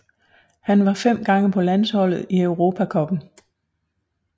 Han var fem gange på landsholdet i Europa cupen